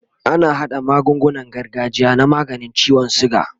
ana haɗa magungunan gargajiya na maganin ciwon sugar